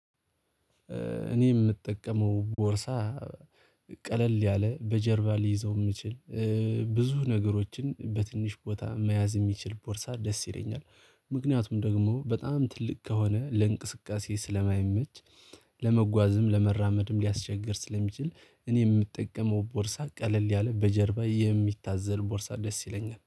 እኔ የምጠቀመው ቦርሳ ቀለል ያለ በጀርባ ሊይዘው የምችል ብዙ ነገሮችን በትንሽ ቦታ መያዝ የሚችል ቦርሳ ደስ ይለኛል። ምክንያቱም ደግሞ በጣም ትልቅ ከሆነ ለእንቅስቃሴ ስለማይመች ለመጓዝም ለመራመድም ሊያስቸግር ስለሚችል እኔ የምጠቀመው ቦርሳ ቀለል ያለ በጀርባ የሚታዘል ቦርሳ ደስ ይለኛል